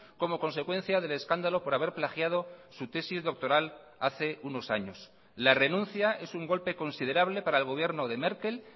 como consecuencia del escándalo por haber plagiado su tesis doctoral hace unos años la renuncia es un golpe considerable para el gobierno de merkel